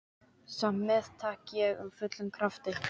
Samt meðtek ég af fullum krafti.